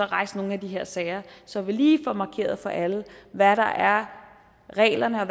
rejse nogle af de her sager så vi lige får markeret for alle hvad der er reglerne og